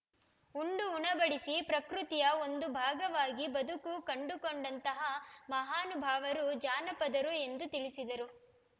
ಉಂಡು ಉಣಬಡಿಸಿ ಪ್ರಕೃತಿಯ ಒಂದು ಭಾಗವಾಗಿ ಬದುಕು ಕಂಡುಕೊಂಡಂತಹ ಮಹಾನುಭಾವರು ಜಾನಪದರು ಎಂದು ತಿಳಿಸಿದರು